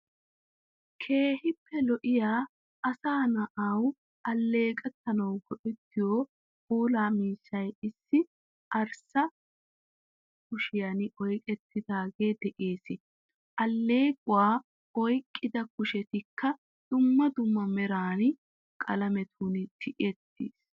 Keehippe lo'iya asaa naawu aleeqqanawu go'ettiyo puulaa miishshay issi arssaa kushiyan oyqqetidagee de'ees. Allequwaa oyqqida kushetikka dumma dumma meraa qaalamettun tiyeetiis.